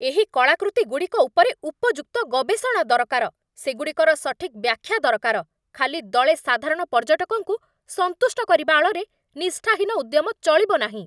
ଏହି କଳାକୃତିଗୁଡ଼ିକ ଉପରେ ଉପଯୁକ୍ତ ଗବେଷଣା ଦରକାର, ସେଗୁଡ଼ିକର ସଠିକ୍ ବ୍ୟାଖ୍ୟା ଦରକାର, ଖାଲି ଦଳେ ସାଧାରଣ ପର୍ଯ୍ୟଟକଙ୍କୁ ସନ୍ତୁଷ୍ଟ କରିବା ଆଳରେ ନିଷ୍ଠାହୀନ ଉଦ୍ୟମ ଚଳିବନାହିଁ।